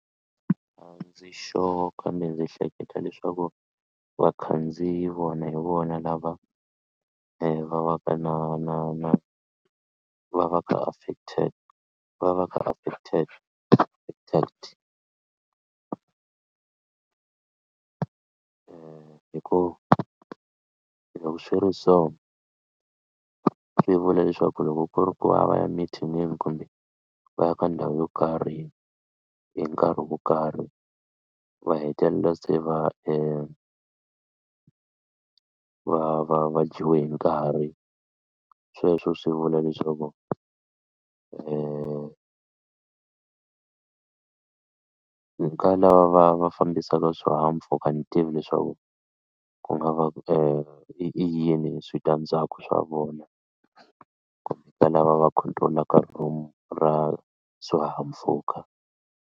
A ndzi sure kambe ndzi hleketa leswaku vakhandziyi vona hi vona lava va va ka na na na va va ka a effected va va ka effected hi ku loko swi ri so swi vula leswaku loko ku ri ku a va ya mithinini kumbe va ya ka ndhawu yo karhi hi nkarhi wo karhi va hetelela se va hi va va va dyiwe hi nkarhi sweswo swi vula leswaku ka lava va fambisaka swihahampfhuka a ndzi tivi leswaku ku nga va i yini switandzhaku swa vona kumbe ka lava va control-aka room ra swihahampfhuka.